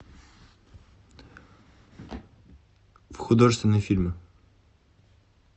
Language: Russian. художественные фильмы